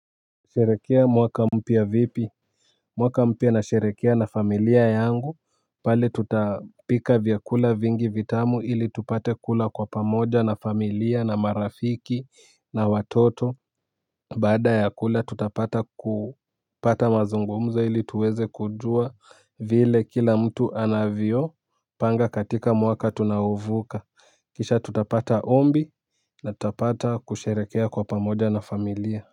Sherekea mwaka mpya vipi. Mwaka mpya nasherehekea na familia yangu pale tutapika vyakula vingi vitamu ili tupate kula kwa pamoja na, familia, marafiki, na watoto. Baada ya kula tutapata kupata mazungumzo ili tuweze kujua vile kila mtu anavyo panga katika mwaka tunaouvuka kisha tutapata ombi na tutapata kusheherekea kwa pamoja na familia.